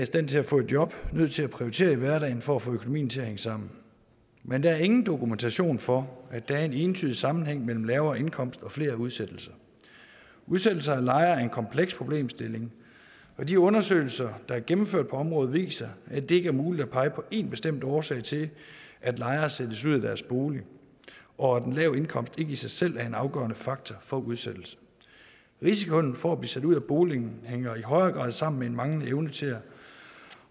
stand til at få job nødt til at prioritere i hverdagen for at få økonomien til at hænge sammen men der er ingen dokumentation for at der er en entydig sammenhæng mellem lavere indkomst og flere udsættelser udsættelser af lejere er en kompleks problemstilling og de undersøgelser der er gennemført på området viser at det ikke er muligt at pege på en bestemt årsag til at lejere sættes ud af deres bolig og at en lav indkomst ikke i sig selv er en afgørende faktor for udsættelse risikoen for at blive sat ud af boligen hænger i højere grad sammen med en manglende evne til at